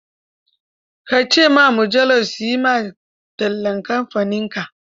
Ka ce wa mujallar su yi ma tallan kamfaninka